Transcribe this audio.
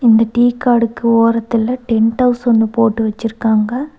இந்த டீ காடுக்கு ஒரத்துல டென்ட் ஹவுஸ் ஒன்னு போட்டு வச்சுருக்காங்க.